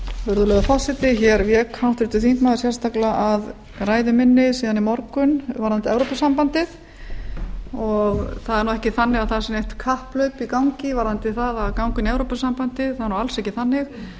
virðulegur forseti hér vék háttvirtur þingmaður sérstaklega að ræðu minni síðan í morgun varðandi evrópusambandið það er nú ekki þannig að það sé neitt kapphlaup í gangi varðandi það að ganga inn í evrópusambandið það er nú alls ekki þannig